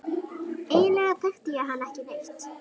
Eiginlega þekkti ég hann ekki neitt.